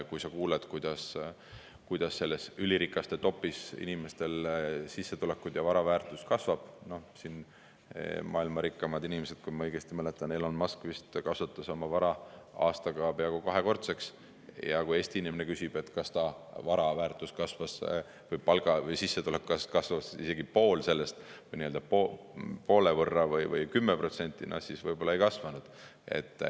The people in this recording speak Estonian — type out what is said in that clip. Kui kuuled, kuidas selles ülirikaste top'is inimestel sissetulekud ja vara väärtus kasvavad – noh, maailma rikkaimad inimesed, kui ma õigesti mäletan, Elon Musk vist kasvatas oma vara aastaga peaaegu kahekordseks –, ja kui Eesti inimene küsib, kas ta vara väärtus kasvas, palk või sissetulek kasvas isegi poole võrra või 10%, noh, siis võib-olla ei kasvanud.